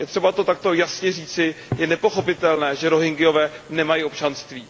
Je třeba to takto jasně říci, je nepochopitelné, že Rohingyové nemají občanství.